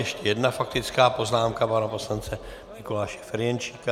Ještě jedna faktická poznámka pana poslance Mikuláše Ferjenčíka.